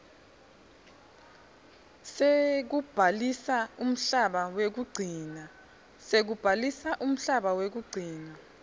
sekubhalisa umhlaba wekugcina